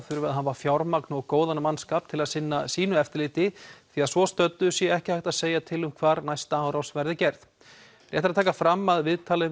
þurfi að hafa fjármagn og góðan mannskap til að sinna sínu eftirliti því að svo stöddu sé ekki hægt að segja til um hvar næsta áras verði gerð rétt er að taka fram að viðtalið